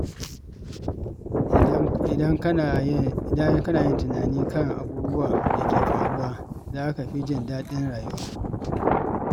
Idan kana yin tunani kan abubuwan da ke faruwa, za ka fi jin daɗin rayuwa.